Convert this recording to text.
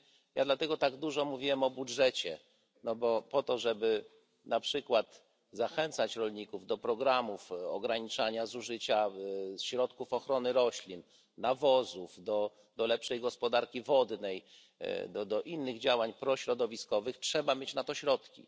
Ja dlatego tak dużo mówiłem o budżecie, że po to, żeby na przykład zachęcać rolników do programów ograniczania zużycia środków ochrony roślin, nawozów, do lepszej gospodarki wodnej, do innych działań prośrodowiskowych, trzeba mieć na to środki.